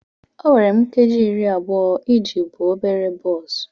O were m nkeji iri abụọ iji buo obere bọs.